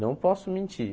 Não posso mentir.